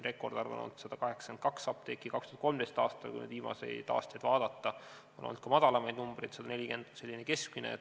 Rekordarv on olnud 182 apteeki 2013. aastal, kui nüüd viimaseid aastaid vaadata, aga on olnud ka väiksemaid arve, 140 on selline keskmine.